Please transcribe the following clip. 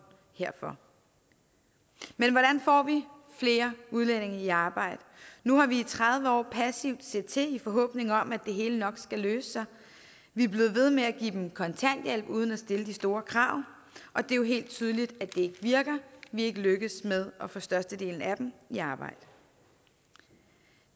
herfor men hvordan får vi flere udlændinge i arbejde nu har vi i tredive år passivt set til i forhåbning om at det hele nok skulle løse sig vi er blevet ved med at give dem kontanthjælp uden at stille de store krav og det er jo helt tydeligt at det ikke virker vi er ikke lykkedes med at få størstedelen af dem i arbejde